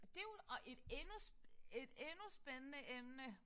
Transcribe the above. Det jo også et endnu et endnu spændende emne